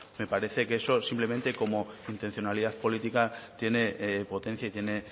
me parece que eso simplemente como intencionalidad política tiene potencia y tiene